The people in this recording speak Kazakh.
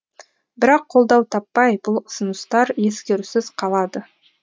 бірақ қолдау таппай бұл ұсыныстар ескерусіз қалады